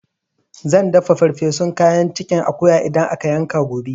Zan dafa ferfesun kayan cikin akuya idan aka yanka gobe